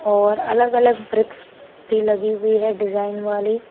और अलग-अलग ब्रिक्स भी लगी हुई है डिजाइन वाली।